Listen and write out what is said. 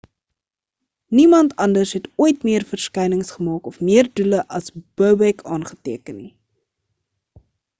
niemand anders het ooit meer verskynings gemaak of meer doele as bobek aangeteken nie